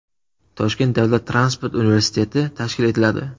Toshkent davlat transport universiteti tashkil etiladi.